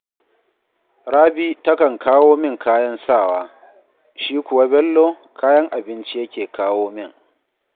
Rabi takan kawo min kayan sawa, shi kuwa Bello kayan abinci yake kawo min